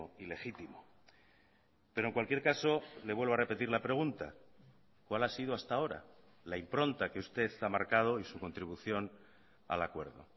ilegítimo pero en cualquier caso le vuelvo a repetir la pregunta cuál ha sido hasta ahora la impronta que usted ha marcado y su contribución al acuerdo